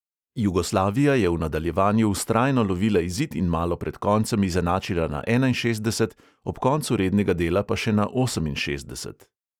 Jugoslavija je v nadaljevanju vztrajno lovila izid in malo pred koncem izenačila na enainšestdeset, ob koncu rednega dela pa še na oseminšestdeset.